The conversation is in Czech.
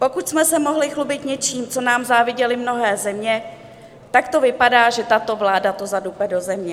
Pokud jsme se mohli chlubit něčím, co nám záviděly mnohé země, tak to vypadá, že tato vláda to zadupe do země.